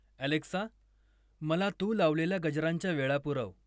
Alexa, मला तू लावलेल्या गजरांच्या वेळा पुरव.